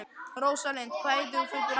Rósalind, hvað heitir þú fullu nafni?